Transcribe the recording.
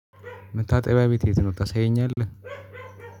መታጠቢያ ቤት የት ነው ታሳየኛለህ?